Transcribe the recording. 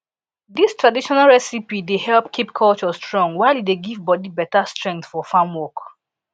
dis traditional recipe dey help keep culture strong while e dey give body beta strength for farm work